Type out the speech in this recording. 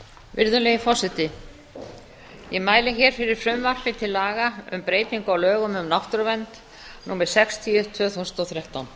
virðulegi forseti ég mæli fyrir frumvarpi til laga um breytingu á lögum um náttúruvernd númer sextíu tvö þúsund og þrettán